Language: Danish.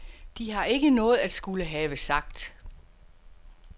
De har ikke noget at skulle have sagt.